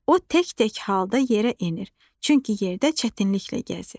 O tək-tək halda yerə enir, çünki yerdə çətinliklə gəzir.